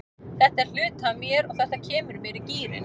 Þetta er hluti af mér og þetta kemur mér í gírinn.